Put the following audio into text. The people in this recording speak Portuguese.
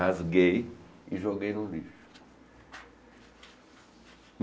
Rasguei e joguei no lixo.